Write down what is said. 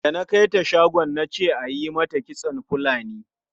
Da na kai ta shagon na ce ayi mata kitson Fulani.